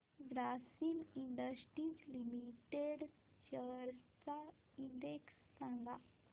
Grasim industries limited shares चा index सांगा